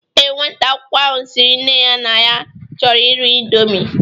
Ee, nwata akwụkwọ ahụ sịrị nne ya na ya chọrọ iri ịndomi